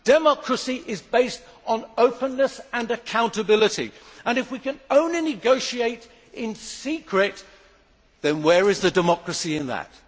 Democracy is based on openness and accountability and, if we can only negotiate in secret, where is the democracy in that?